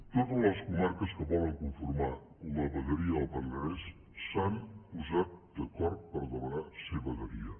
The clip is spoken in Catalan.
totes les comarques que volen conformar la vegueria del penedès s’han posat d’acord per demanar ser vegueria